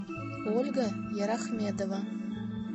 ольга ярахмедова